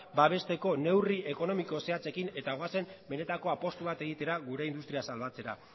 babesteko neurri ekonomiko zehatzekin eta goazen benetako apustu bat egitera gure industria zabaltzera